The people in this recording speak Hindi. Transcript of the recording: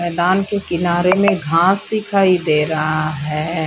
मैदान के किनारे में घास दिखाई दे रहा है।